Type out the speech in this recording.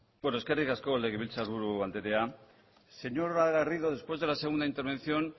eskerrik asko legebiltzarburu andrea señora garrido después de la segunda intervención